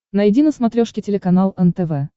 найди на смотрешке телеканал нтв